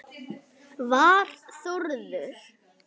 Var Þórður